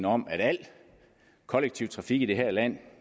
om at al kollektiv trafik i det her land